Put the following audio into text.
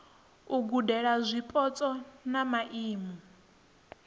u gudela zwipotso ha maimo